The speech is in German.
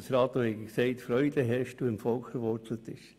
der gesagt hat «Freude herrscht» und im Volk verwurzelt ist.